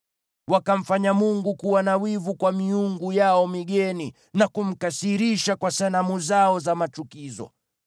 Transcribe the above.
Wakamfanya Mungu kuwa na wivu kwa miungu yao migeni, na kumkasirisha kwa sanamu zao za machukizo.